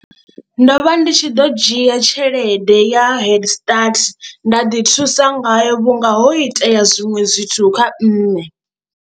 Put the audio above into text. Ndo vha ndi tshi ḓo dzhia tshelede ya heard start nda ḓi thusa ngayo vhunga ho itea zwiṅwe zwithu kha nṋe.